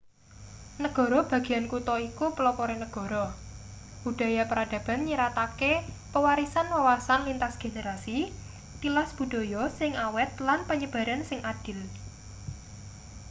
negara bagean kutha iku pelopore negara budaya peradaban nyiratake pewarisan wawasan lintas generasi tilas budaya sing awet lan penyebaran sing adil